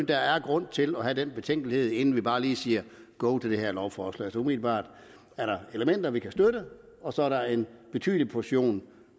der er grund til at nære den betænkelighed inden vi bare lige siger go til det her lovforslag umiddelbart er der elementer vi kan støtte og så er der en betydelig portion